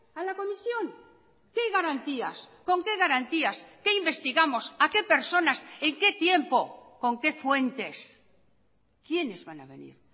a la comisión qué garantías con qué garantías qué investigamos a qué personas en qué tiempo con qué fuentes quiénes van a venir